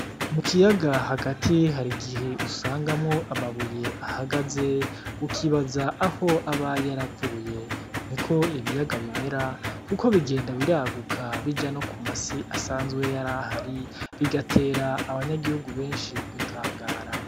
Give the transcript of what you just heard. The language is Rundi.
Mu kiyaga hagati hari igihe usangamwo amabuye ahagaze ukibaza aho aba yaravuye, niko ibiyaga bimera kuko bigenda biraguka bija no kuma si asanzwe yarahari bigatera abanyagihugu benshi gutangara.